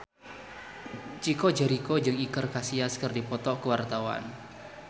Chico Jericho jeung Iker Casillas keur dipoto ku wartawan